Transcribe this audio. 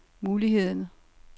muligheden